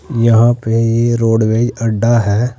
यहां पे ये रोडवेज अड्डा है।